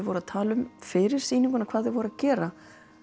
voru að tala um fyrir sýninguna hvað þau voru að gera